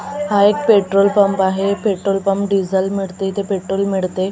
हा एक petrol pump आहे पेट्रोल पंप डिझल मिडते इथे पेट्रोल मिडते पे --